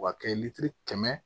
Wa kɛ kɛmɛ